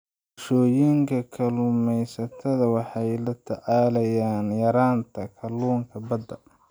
Bulshooyinka kalluumeysatada waxay la tacaalayaan yaraanta kalluunka badda.